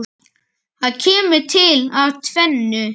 Það kemur til af tvennu.